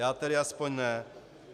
Já tedy aspoň ne.